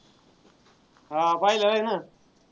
हा पहिला आहे ना.